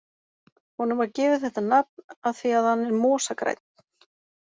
Honum var gefið þetta nafn af því að hann er mosagrænn.